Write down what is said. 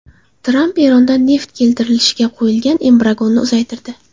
Tramp Erondan neft keltirilishiga qo‘yilgan embargoni uzaytirdi.